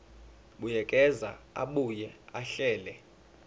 buyekeza abuye ahlele